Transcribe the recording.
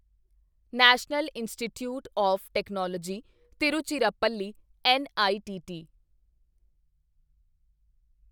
national Institute of Technology Tiruchirappalli NITT